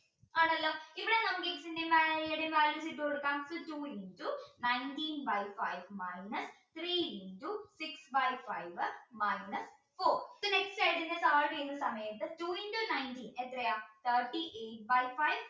ഒരു കാര്യം ചെയ്തു കൊടുക്കാം two into nineteen by five minus three into six by five minus four അപ്പോ next ആയിട്ട് ഞാൻ താഴെ എഴുതുന്ന സമയത്ത് two into nineteen എത്രയാ thirty eight by five